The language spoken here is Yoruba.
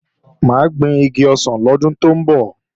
Mà á gbin igi ọsàn lọ́dún tó ń bọ̀